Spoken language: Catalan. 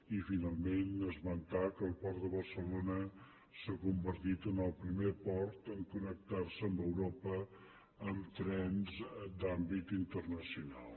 i finalment esmentar que el port de barcelona s’ha convertit en el primer port a connectar se amb europa amb trens d’àmbit internacional